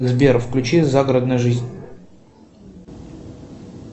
сбер включи загородная жизнь